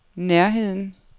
nærheden